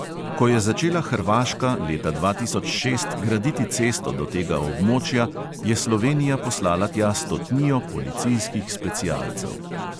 Ko je začela hrvaška leta dva tisoč šest graditi cesto do tega območja, je slovenija poslala tja stotnijo policijskih specialcev.